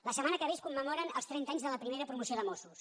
la setmana que ve es commemoren els trenta anys de la primera promoció de mossos